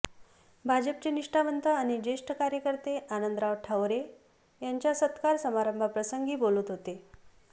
भाजपचे निष्ठावंत आणि ज्येष्ठ कार्यकर्ते आनंदराव ठवरे यांच्या सत्कार समारंभप्रसंगी बोलत होते